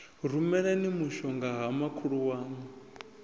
rumelani mushongahoyu ha makhulu waṋu